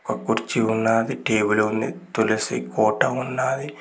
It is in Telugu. ఒక కుర్చీ ఉన్నాది టేబుల్ ఉంది తులసి కోట ఉన్నాది.